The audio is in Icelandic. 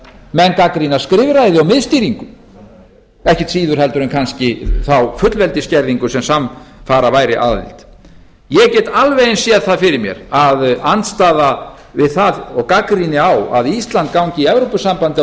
menn gagnrýna skrifræði og miðstýringu ekkert síður en kannski þá fullveldisskerðingu sem samfara væri aðild ég get alveg eins séð það fyrir mér að andstaða við það og gagnrýni á að ísland gangi í evrópusambandið á